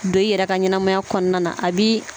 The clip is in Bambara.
Don i yɛrɛ ka ɲɛnamaya kɔnɔna na a bɛ